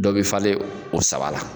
Dɔ be falen o saba la.